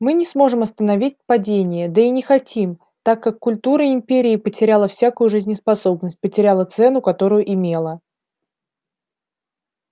мы не сможем остановить падение да и не хотим так как культура империи потеряла всякую жизнеспособность потеряла цену которую имела